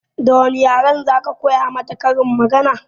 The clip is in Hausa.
Da wane yaren za ka koya mata karin magana?